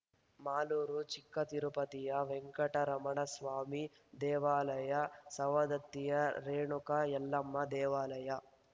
ಮಾಲೂರು ಚಿಕ್ಕತಿರುಪತಿಯ ವೆಂಕಟರಮಣಸ್ವಾಮಿ ದೇವಾಲಯ ಸವದತ್ತಿಯ ರೇಣುಕಾ ಯಲ್ಲಮ್ಮ ದೇವಾಲಯ